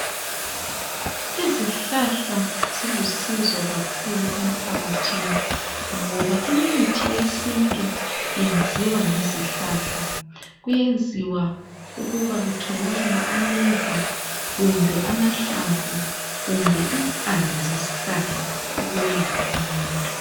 Izihlahla zilusizo kakhulu emphakathini ngoba imithi yesintu yenziwa ngezihlahla. Kuyenziwa ukuba kutholakale ameva kumbe amahlamvu kumbe impande zesihlahla ukwelapha umuntu.